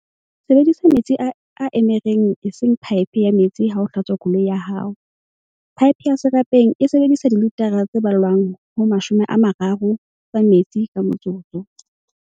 Sebedisa metsi a emereng eseng paepe ya metsi ha o hlatswa koloi ya hao. Paepe ya serapeng e sebedisa dilitara tse ballwang ho 30 tsa metsi ka motsotso.